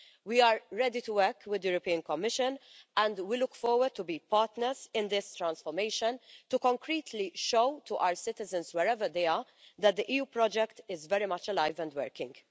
We are ready to work with the European Commission, and we look forward to being partners in this transformation to concretely show to our citizens, wherever they are, that the EU project is very much alive and working.